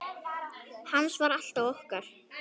Hans var alltaf okkar.